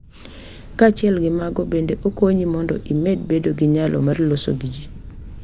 Kaachiel gi mago, bende okonyi mondo imed bedo gi nyalo mar loso gi ji.